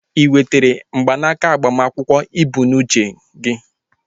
Ị nwetere mgbanaka agbamakwụkwọ ị bụ n'uche gị?